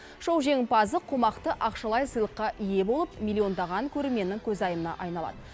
шоу жеңімпазы қомақты ақшалай сыйлыққа ие болып миллиондаған көрерменнің көзайымына айналады